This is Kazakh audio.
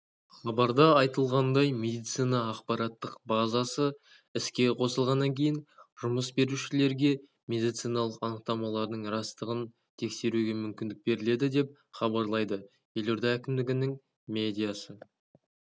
хабарда айтылғандай медицина ақпараттық базасы іске қосылғаннан кейін жұмыс берушілерге медициналық анықтамалардың растығын тексеруге мүмкіндік беріледі деп хабарлайды елорда әкімдігінің медиа